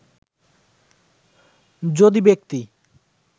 যদি ব্যক্তি